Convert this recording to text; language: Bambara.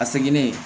A seginnen